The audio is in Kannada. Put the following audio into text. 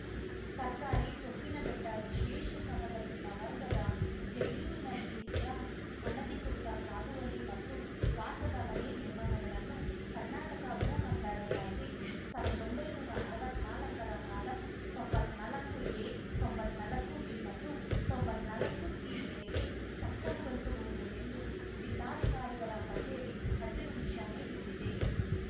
ಸರ್ಕಾರಿ ಸೊಪ್ಪಿನಬೆಟ್ಟವಿಶೇಷ ಸವಲತ್ತಿನ ವರ್ಗದ ಜಮೀನಿನಲ್ಲಿಯ ಅನಧಿಕೃತ ಸಾಗುವಳಿ ಮತ್ತು ವಾಸದ ಮನೆ ನಿರ್ಮಾಣಗಳನ್ನು ಕರ್ನಾಟಕ ಭೂ ಕಂದಾಯ ಕಾಯಿದೆ ಸಾವಿರ್ದೊಂಭೈನೂರಾ ಅರವತ್ನಾಲ್ಕರ ಕಾಲಂ ತೊಂಬತ್ನಾಲ್ಕುಎ ತೊಂಬತ್ನಾಲ್ಕುಬಿ ಮತ್ತು ತೊಂಬತ್ನಾಲ್ಕುಸಿ ಮೇರೆಗೆ ಸಕ್ರಮಗೊಳಿಸಬಹುದು ಎಂದು ಜಿಲ್ಲಾಧಿಕಾರಿಗಳ ಕಚೇರಿ ಹಸಿರು ನಿಶಾನೆ ನೀಡಿದೆ